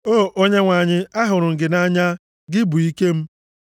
O Onyenwe anyị, ahụrụ m gị nʼanya, gị bụ ike m.